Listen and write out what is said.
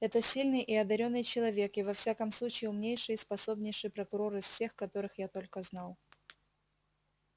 это сильный и одарённый человек и во всяком случае умнейший и способнейший прокурор из всех которых я только знал